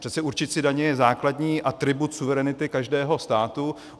Přece určit si daně je základní atribut suverenity každého státu.